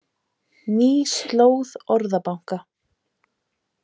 Ný slóð Orðabanka